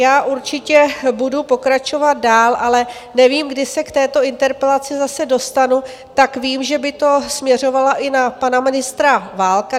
Já určitě budu pokračovat dál, ale nevím, kdy se k této interpelaci zase dostanu, tak vím, že to by směřovalo i na pana ministra Válka.